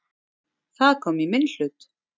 Það kom í minn hlut.